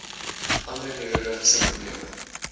ander neurologiese probleme